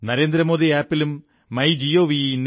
Narendra Modi app ലും my gov